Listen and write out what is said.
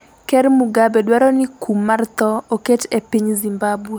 ker Mugabe dwaro ni kum mar tho oket e piny Zimbabwe